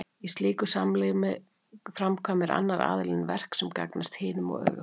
í slíku samlífi framkvæmir annar aðilinn verk sem gagnast hinum og öfugt